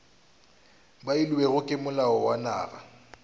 beilwego ke molao wa naga